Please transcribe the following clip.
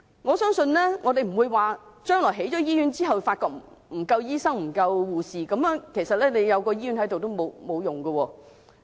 我相信將來醫院建成後如發現沒有足夠醫生和護士，那麼即使有醫院也沒用。